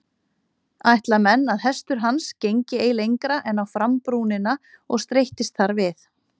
Ætla menn að hestur hans gengi ei lengra en á frambrúnina og streittist þar við.